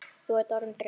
Þú ert orðin þreytt.